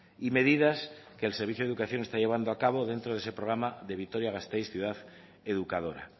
y medidas que el servicio de educación está llevando a cabo dentro de ese programa de vitoria gasteiz ciudad educadora